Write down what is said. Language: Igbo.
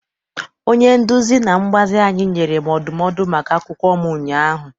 Onye nduzi na mgbazi anyị nyere m ndụmọdụ maka akwụkwọ m ụnyaahụ.